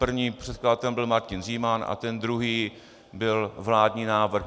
Prvním předkladatelem byl Martin Říman a ten druhý byl vládní návrh.